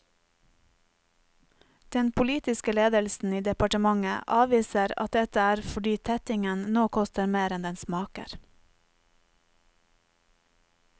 Den politiske ledelsen i departementet avviser at dette er fordi tettingen nå koster mer enn den smaker.